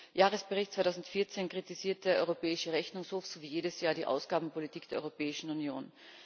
Im Jahresbericht 2014 kritisiert der Europäische Rechnungshof so wie jedes Jahr die Ausgabenpolitik der Europäischen Union.